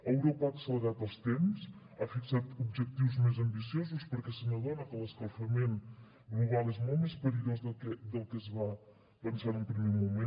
europa ha accelerat els temps ha fixat objectius més ambiciosos perquè se n’adona que l’escalfament global és molt més perillós del que es va pensar en un primer moment